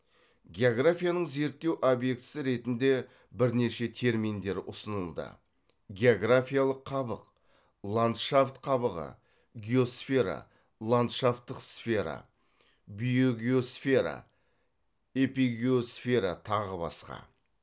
географияның зерттеу обьектісі ретінде бірнеше терминдер ұсынылды географиялық қабық ландшафт қабығы геосфера ландшафтық сфера биогеосфера эпигеосфера тағы басқа